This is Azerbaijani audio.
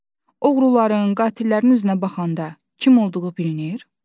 Oğruların, qatillərin üzünə baxanda kim olduğu bilinir?